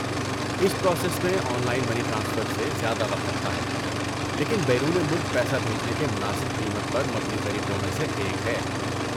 اس process میں online money transfer سے زیادہ وقت لگتا ہے، لیکن بیرون ملک پیسہ بھیجنے کے مناسب قیمت پر مبنی طریقوں میں سے ایک ہے۔